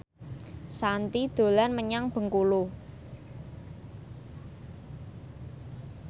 Shanti dolan menyang Bengkulu